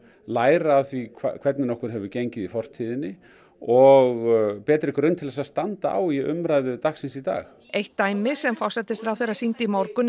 læra af því hvernig okkur hefur gengið í fortíðinni og betri grunn til þess að standa á í umræðu dagsins í dag eitt dæmi sem forsætisráðherra sýndi í morgun